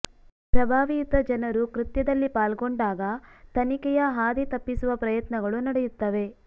ಪ್ರಭಾವಿಯುತ ಜನರು ಕೃತ್ಯದಲ್ಲಿ ಪಾಲ್ಗೊಂಡಾಗ ತನಿಖೆಯ ಹಾದಿ ತಪ್ಪಿಸುವ ಪ್ರಯತ್ನಗಳು ನಡೆಯುತ್ತವೆ